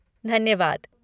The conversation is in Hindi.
धन्यवाद!